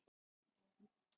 Rándýr gæða sér á grasbít.